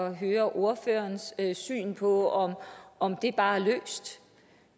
at høre ordførerens syn på om om det bare